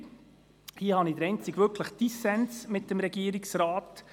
Hier habe ich den einzigen wirklichen Dissens mit dem Regierungsrat.